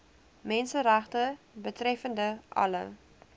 menseregte betreffende alle